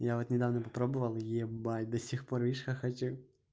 я вот недавно попробовал ебать до сих пор видишь хохочу